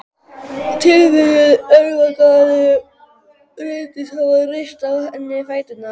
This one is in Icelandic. Tilviljun, erfðagalli, reyndist hafa reyrt á henni fæturna.